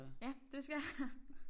Ja det skal jeg